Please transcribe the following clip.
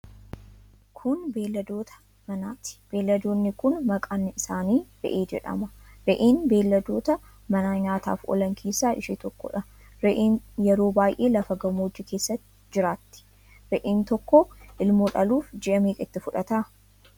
Kun, beeyladoota manaati. Beeyladoonni kun, maqaan isaanii re'ee jedhama. Re'een beeyladoota manaa nyaataaf oolan keessaa ishee tokkoodha. Re'een yeroo baay'ee lafa gammoojjii keessa jiraatti. Re'een tokkoo ilmoo dhaluuf ji'a meeqa itti fudhata?